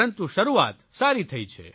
પરંતુ શરૂઆત સારી થઇ છે